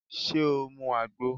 Ṣé o mu àgbo?